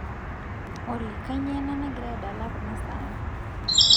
olly kainyio ena nagira adala kunasaai